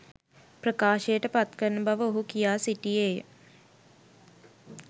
ප්‍රකාශයට පත්කරන බව ඔහු කියා සිටියේය.